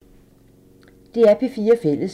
DR P4 Fælles